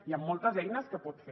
hi han moltes eines que pot fer